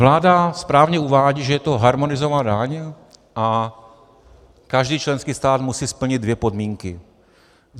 Vláda správně uvádí, že je to harmonizovaná daň a každý členský stát musí splnit dvě podmínky.